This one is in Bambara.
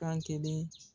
Kan kelen